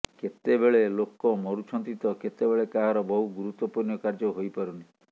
କେତେବେଳେ ଲୋକ ମରୁଛନ୍ତି ତ କେତେବେଳେ କାହାର ବହୁ ଗୁରୁତ୍ବପୂର୍ଣ୍ଣ କାର୍ଯ୍ୟ ହୋଇପାରୁନି